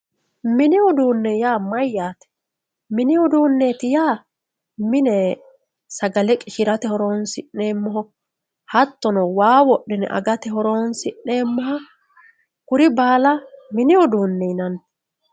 mini uduune yaa mayaate mini uduuneeti yaa mine sagale qishirate horonsi'neemoho hattono waa woxxine agate horonsi'neemoha kuri baala mini uduune yinanni.